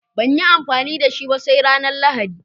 Banyi amfani dashi ba sai ranar lahadi